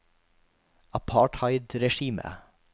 apartheidregimet